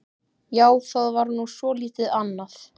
Já, það var nú svolítið annað.